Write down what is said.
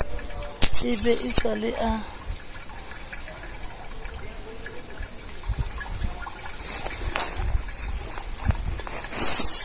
e be e sale a